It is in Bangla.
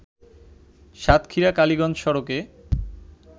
সাতক্ষীরা কালিগঞ্জ সড়কে